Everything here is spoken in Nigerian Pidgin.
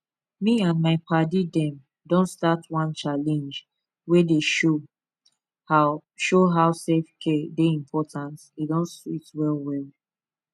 me and my paddy dem don start one challenge wey dey show how show how selfcare dey important e don sweet wellwell